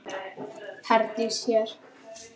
Herdís hér.